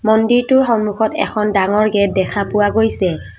মন্দিৰটোৰ সন্মুখত এখন ডাঙৰ গেট দেখা পোৱা গৈছে।